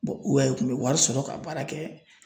Bɔn uwɛn i kun be wari sɔrɔ ka baara kɛ